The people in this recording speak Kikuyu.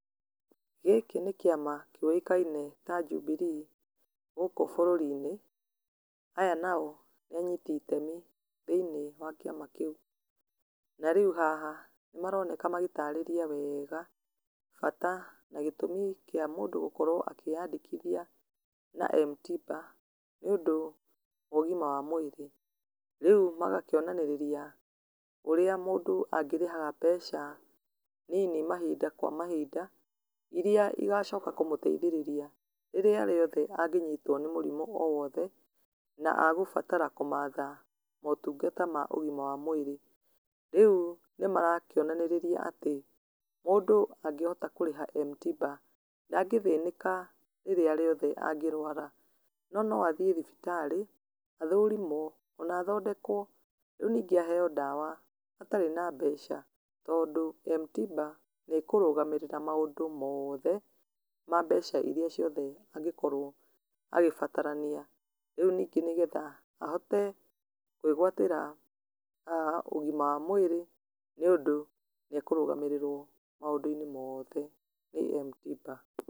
Gĩkĩ nĩ kĩama kĩũĩkaine ta Jubilee gũkũ bũrũri-inĩ, aya nao nĩ anyiti itemi thĩiniĩ wa kĩama kĩu. Na rĩu haha nĩ maroneka magĩtarĩria wega bata na gĩtũmi kĩa mũndũ gũkorwo akĩyandĩkithia na m-tiba nĩ ũndũ wa ũgima wa mwĩrĩ. Rĩu magakĩonanĩrĩria ũrĩa mũndũ angĩrĩhaga mbeca nini mahinda kwa mahinda, iria igacoka kũmũteithĩrĩria rĩrĩa rĩothe angĩnyitwo nĩ mũrimũ o wothe, na agũbatara kũmatha motungata ma ũgima wa mwĩrĩ. Rĩu nĩ marakĩonanĩrĩria atĩ mũndũ angĩhota kũrĩha m-tiba, ndangĩthĩnĩka rĩrĩa rĩothe angĩrwara, no no athiĩ thibitarĩ athũrimwo ona athondekwo, rĩu ningĩ aheo ndawa atarĩ na mbeca tondũ m-tiba nĩ ĩkũrũgamĩrĩra maũndũ mothe, ma mbeca iria ciothe angĩkorwo agĩbatarania, rĩu ningĩ nĩgetha ahote kwĩgwatĩra ũgima wa mwĩrĩ nĩ ũndũ nĩ ekũrũgamĩrĩrwo maũndũ-inĩ mothe nĩ m-tiba.